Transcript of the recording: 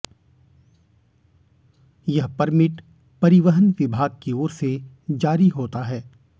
यह परमिट परिवहन विभाग की ओर से जारी होता है